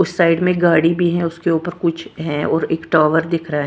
उस साइड में गाड़ी भी है उसके ऊपर कुछ है और एक टावर दिख रहा है।